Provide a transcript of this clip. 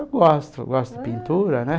Eu gosto, gosto de pintura, né?